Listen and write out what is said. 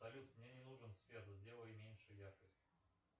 салют мне не нужен свет сделай меньше яркость